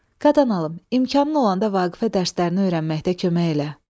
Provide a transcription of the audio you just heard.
Qadan alım, imkanın olanda Vaqifə dərslərini öyrənməkdə kömək elə.